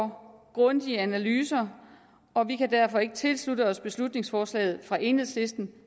grundige analyser og vi kan derfor ikke tilslutte os beslutningsforslaget fra enhedslisten